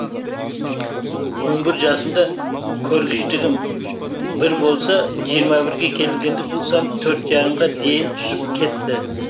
он бір жасымда көргіштігім бір болса жиырма бірге келгенде бұл сан төрт жарымға дейін түсіп кетті